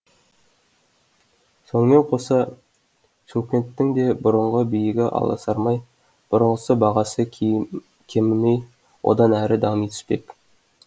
сонымен қоса шымкенттің де бұрынғы биігі аласармай бұрынғысы бағасы кемімей одан әрі дами түспек